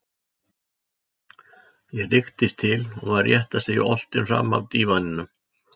ég rykktist til og var rétt að segja oltinn framaf dívaninum.